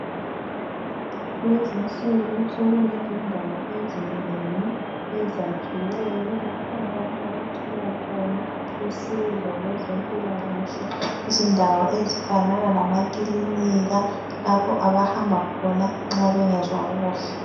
Kulezi insuku sokulendawo ezinengi ezakhiweyo lapho abantu abathola khona usizo kweze mpilakahle izindawo ezifana lama clinika lapho abahamba khona nxa bengezwa kuhle.